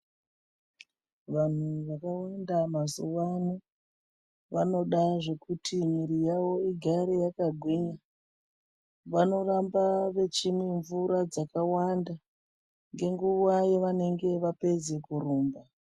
Vanhu vakawanda mazuwa ano, vanoda zvekuti mwiri yawo igare yakagwinya. Vanoramba vechimwa mvura dzakawanda, ngenguwa yavanenge vapedze kurumba.